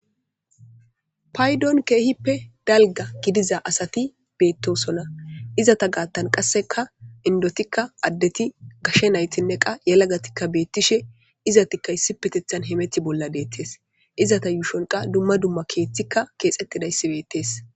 paydon keehippe dalga gidiza asati beettosonna izata gaattan qasseka indotikka addeti gashe naytinne qa yalagatikka beettishe izatikka issi petethan hemeti bolla deettes izata yuushon qa dumma dumma keeththikka keexxettidayssi bettees